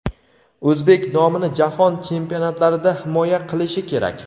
o‘zbek nomini jahon chempionatlarida himoya qilishi kerak.